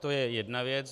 To je jedna věc.